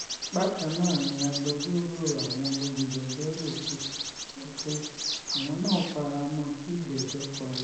Bakan na ni agbejoro awon olujejo yioku so pe awon na fara mon ki igbejo pari